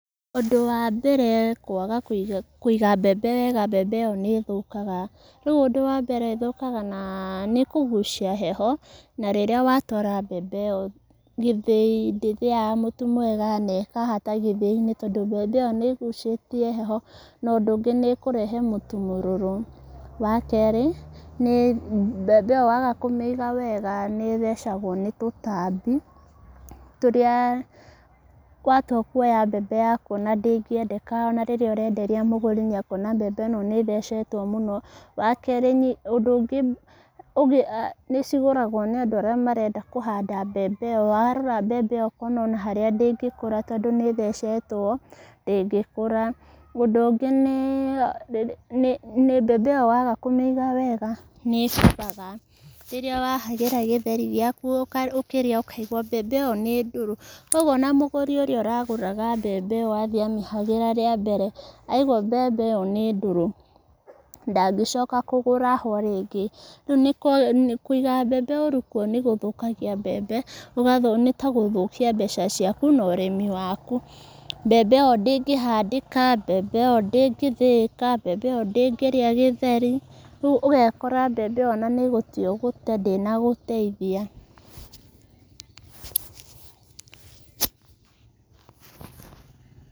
Ũndũ wa mbere kwaga kũiga mbembe wega mbembe ĩyo nĩ ĩthũkaga, rĩu ũndũ wa mbere ĩthũkaga na nĩ kũgucia heho na rĩrĩa watwara mbembe ĩyo gĩthĩi ndĩthĩaga mũtu mwega na ĩkahata gĩthĩi-inĩ tondũ mbembe ĩyo nĩ ĩgucĩtie heho, na ũndũ ũngĩ nĩ ĩkũrehe mũtu mũrũrũ. Wa kerĩ mbembe ĩyo waga kũmĩiga wega nĩ ĩthecagwo nĩ tũtambi tũrĩa watua kwoya mbembe yaku ona ndĩngĩendeka ona rĩrĩa ũrenderia mũgũri nĩ ekuona mbembe ĩno nĩ ĩthecetwo mũno. Wa kerĩ, ũndũ ũngĩ nĩ cigũragwo nĩ andũ arĩa marenda kũhanda mbembe ĩyo, warora mbembe ĩyo ũkona ona harĩa ndĩngĩkũra tondũ nĩ ĩthecetwo ndĩngĩkũra. Ũndũ ũngĩ nĩ mbembe ĩyo waga kũmĩiga wega nĩ ĩbuthaga rĩrĩa wahagĩra gĩtheri gĩaku ũkĩrĩa ũkaigua mbembe ĩyo nĩ ndũrũ. Koguo ona mũgũri ũrĩa ũragũraga mbembe ĩyo athiĩ amĩhagĩra rĩa mbere aigua mbembe ĩyo nĩ ndũrũ ndangĩcoka kũgũra ho rĩngĩ. Kũiga mbembe ũru nĩ gũthũkagia mbembe, nĩ ta gũthũkia mbeca ciaku na ũrĩmi waku, mbembe ĩyo ndĩngĩhandĩka, mbembe ĩyo ndĩngĩ thĩĩka mbembe ĩyo ndĩngĩrĩa gĩtheri, rĩu ũgekora mbembe ĩyo ona nĩ gũte ũgũte ndĩna gũteithia.